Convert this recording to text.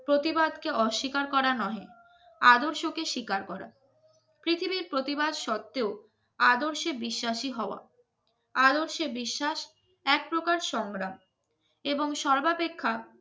প্রতিবাদকে অস্বীকার করা নয়, আদর্শকে স্বীকার করা প্রতিবাদ সত্ত্বেও আদর্শে বিশ্বাসী হওয়া আরো সে বিশ্বাস একপ্রকার সংগ্রাম এবং সর্বাপেক্ষা